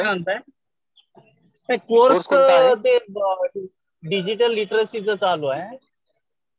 काय म्हणताय? नाही कोर्स ते डीजीटल लिटरसीच चालू आहे.